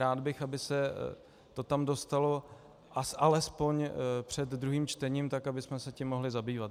Rád bych, aby se to tam dostalo alespoň před druhým čtením, tak abychom se tím mohli zabývat.